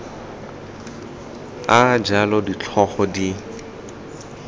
a a jalo ditlhogo di